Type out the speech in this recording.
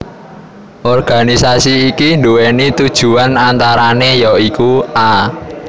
Organisasi iki nduwèni tujuwan antarané ya iku a